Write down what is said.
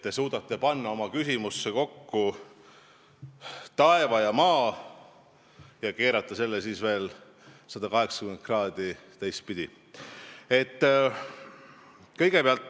Te suudate panna oma küsimusse kokku taeva ja maa ning keerata selle siis veel 180 kraadi teistpidi.